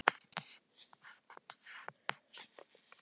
Mamma kenndi okkur snemma að lesa.